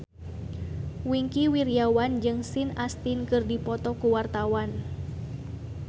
Wingky Wiryawan jeung Sean Astin keur dipoto ku wartawan